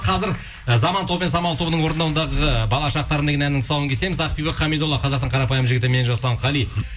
қазір і заман тобы мен самал тобының орындауындағы бала шақтарым деген әнінің тұсауын кесеміз ақбибі хамидолла қазақтың қарапайым жігіті мен жасұлан қали